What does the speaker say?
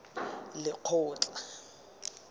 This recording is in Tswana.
lekgotla